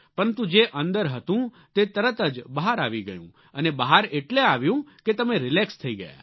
પરંતુ જે અંદર હતું તે તરત જ બહાર આવી ગયું અને બહાર એટલે આવ્યું કે તમે રિલેક્સ થઈ ગયા